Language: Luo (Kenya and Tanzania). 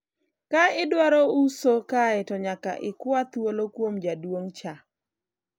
ka idwaro uso kae to nyaka ikwa thuolo kuom jaduong' cha